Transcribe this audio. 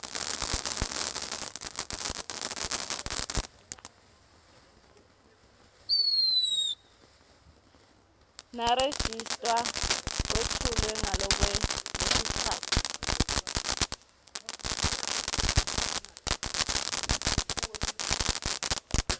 nerejista kwetfulwe ngalokwenetisako